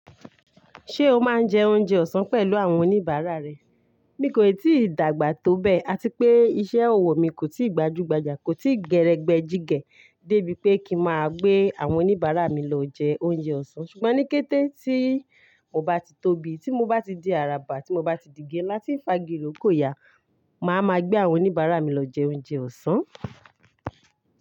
Ṣé o máa ń jẹ oúnjẹ ọ̀sán pẹ̀lú àwọn oníbàárà rẹ? Mi kòì tíì dàgbà tó bẹ́ẹ̀, àti pé iṣẹ́ ọwọ́ mi kò tíì gbajúgbajà, kò tí gẹgbẹjígẹ débi pé kí n máa gbé àwọn oníbàárà mi lọ jẹ oúnjẹ ọ̀sán. Ṣùgbọ́n ní kété tí mo bá ti tóbi, tí mo bá ti di àràbà, tí mo bá ti di igi ńlá tí ń fa igi irokò ya, màá ma gbé àwọn oníbàárà mi lọ jẹ oúnjẹ ọ̀sán.